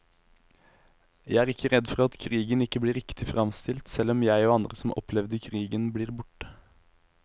Jeg er ikke redd for at krigen ikke blir riktig fremstilt, selv om jeg og andre som opplevde krigen blir borte.